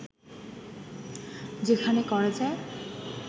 যেখানে করা যায়